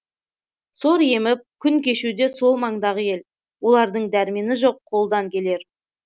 сор еміп күн кешуде сол маңдағы ел олардың дәрмені жоқ қолдан келер